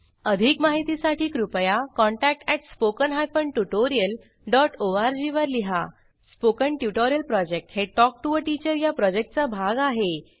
अधिक माहितीसाठी कृपया contact at spoken hyphen tutorial dot O R G वर लिहा स्पोकन ट्युटोरियल प्रॉजेक्ट हे टॉक टू टीचर या प्रॉजेक्टचा भाग आहे